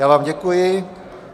Já vám děkuji.